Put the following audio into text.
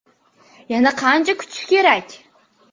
Yana qancha kutish kerak?